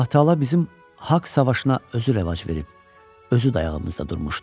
Allah-Taala bizim haqq savaşına özü rəvac verib, özü dayağımızda durmuşdu.